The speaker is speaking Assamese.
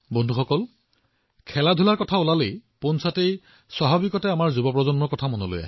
বন্ধুসকল যেতিয়া ক্ৰীড়াৰ কথা আহে স্বাভাৱিকতে আমি সমগ্ৰ যুৱ প্ৰজন্মক দেখা পাওঁ